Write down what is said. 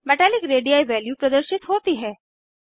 metallic radii value प्रदर्शित होती है